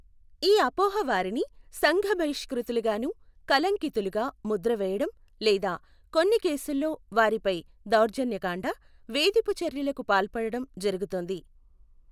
ఈ అపోహ వారిని సంఘబహిష్కృతులుగాను, కళంకితులుగా ముద్ర వేయడం లేదా కొన్ని కేసుల్లో వారిపై దౌర్జన్యకాండ, వేధిపు చర్యలకు పాల్పడడం జరుగుతోంది.